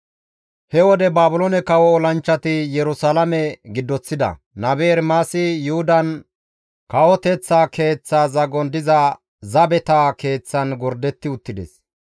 He wode Baabiloone kawo olanchchati Yerusalaame giddoththida; nabe Ermaasi Yuhudan kawoteththa keeththa zagon diza zabeta keeththan gordetti uttides.